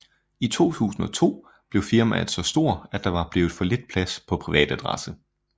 I 2002 blev firmaet så stor at der var blevet for lidt plads på privatadresse